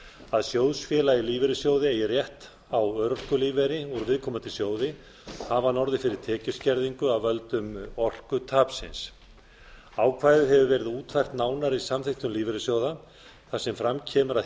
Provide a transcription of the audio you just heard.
að sjóðfélagi í lífeyrissjóði eigi rétt á örorkulífeyri úr viðkomandi sjóði hafi að orðið fyrir tekjuskerðingu af völdum orkutapsins ákvæðið hefur verið útfært nánar í samþykktum lífeyrissjóða þar sem fram kemur að